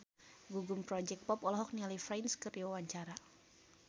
Gugum Project Pop olohok ningali Prince keur diwawancara